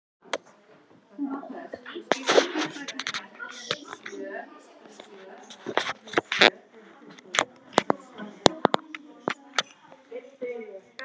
Stakk upp í sig stóru jarðarberi.